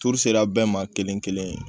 Tuuru sera bɛɛ ma kelen kelen